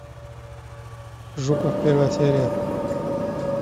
жуков первая серия